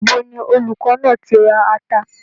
Ibo ni olùkọ́ náà ti ra ata?